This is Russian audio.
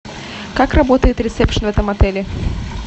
как работает ресепшн в этом отеле